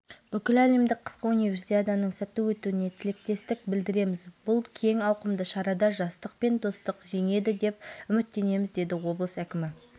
өткізді таблодағы есепті бірнеше рет өзгертуімізге болатын еді алайда сәттілік бұл жолы біздің жақта болмады